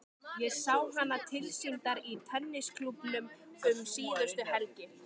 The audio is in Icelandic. Ég sá hana tilsýndar í tennisklúbbnum um síðustu helgi.